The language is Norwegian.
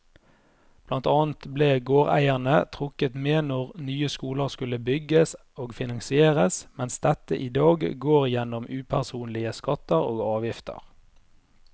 Blant annet ble gårdeierne trukket med når nye skoler skulle bygges og finansieres, mens dette i dag går gjennom upersonlige skatter og avgifter.